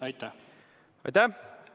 Aitäh!